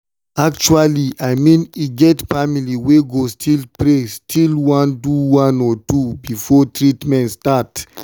actually i mean e get family wey go pray still one do one or two before treament start.